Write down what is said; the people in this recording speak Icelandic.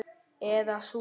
Eða sú.